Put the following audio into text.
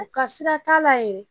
U ka sira t'a la yɛrɛ